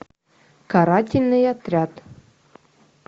карательный отряд